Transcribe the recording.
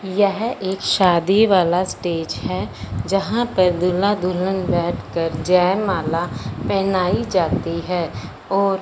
यह एक शादी वाला स्टेज है जहां पर दूल्हा दुल्हन बैठकर जयमाला पहनाई जाती है और --